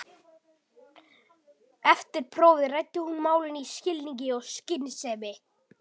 Eftir prófið ræddi hún málin af skilningi og skynsemi.